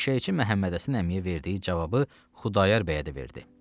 Eşşəkçi Məhəmmədhəsən əmiyə verdiyi cavabı Xudayar bəyə də verdi.